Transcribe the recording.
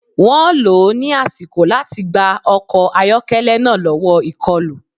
Wọ́n lò ó ní àsìkò láti gba ọkọ̀ ayọ́kẹ́lẹ́ náà lọ́wọ́ ìkọlù